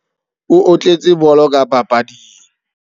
O otletse bolo ka papading.